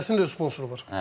Hərəsində öz sponsoru var.